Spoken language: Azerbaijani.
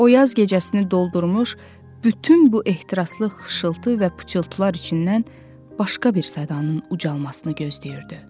O yaz gecəsini doldurmuş bütün bu ehtiraslı xışıltı və pıçılıtlar içindən başqa bir sədanın ucalmasını gözləyirdi.